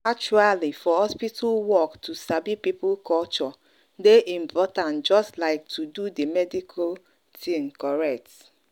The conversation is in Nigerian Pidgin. actually for hospital work to sabi people culture dey important just like to do the medical thing correct.